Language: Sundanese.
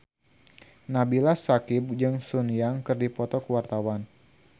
Nabila Syakieb jeung Sun Yang keur dipoto ku wartawan